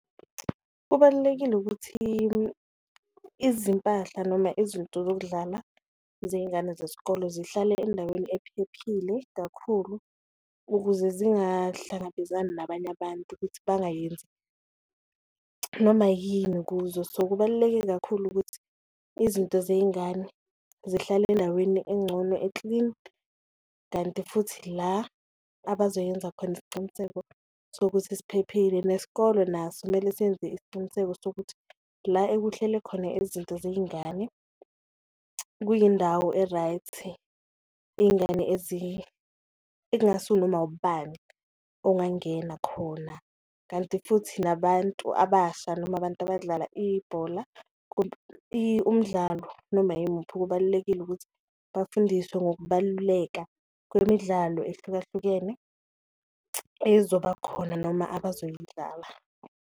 Kubalulekile ukuthi izimpahla noma izinto zokudlala zeyingane zesikole zihlale endaweni ephephile kakhulu ukuze zingahlangabezani nabanye abantu, ukuthi bangayenzi noma yini kuzo. So, kubaluleke kakhulu ukuthi izinto zeyingane zihlale endaweni engcono eklini kanti futhi la abazoyenza khona isiciniseko sokuthi siphephile, nesikole naso kumele siyenze isiqiniseko sokuthi la ekuhlele khona izinto ziyingane kuyindawo e-right iyingane engasunoma ubani ongangena khona. Kanti futhi nabantu abasha noma abantu abadlala ibhola umdlalo noma yimuphi, kubalulekile ukuthi bafundiswe ngokubaluleka kwemidlalo ehlukahlukene ezoba khona noma abazoyidlala.